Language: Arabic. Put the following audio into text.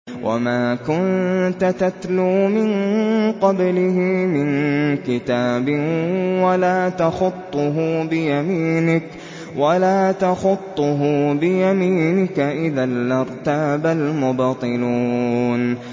وَمَا كُنتَ تَتْلُو مِن قَبْلِهِ مِن كِتَابٍ وَلَا تَخُطُّهُ بِيَمِينِكَ ۖ إِذًا لَّارْتَابَ الْمُبْطِلُونَ